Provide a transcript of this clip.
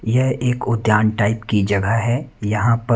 यह एक उद्यान टाइप की जगह है यहां प--